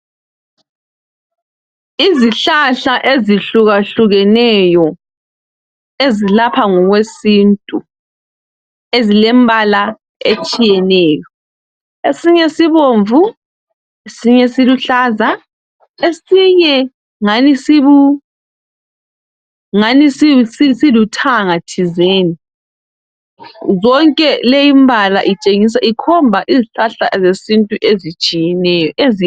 Izihlahla ezihlukahlukeneyo ezilapha ngokwesintu, ezilembala etshiyeneyo esinye sibomvu, esinye siluhlaza esinye ungani siluthanga thizeni. Yonke le imbala itshengisa, ikhomba izihlahla ze sintu ezitshiyeneyo.